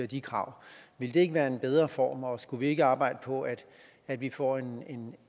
de krav ville det ikke være en bedre form og skulle vi ikke arbejde på at at vi får